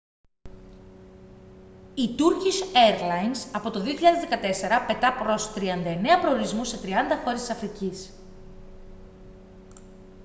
η turkish airlines από το 2014 πετά προς 39 προορισμούς σε 30 χώρες της αφρικής